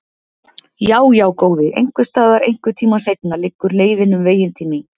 Já, já, góði, einhvers staðar, einhvern tíma seinna, liggur leiðin um veginn til mín.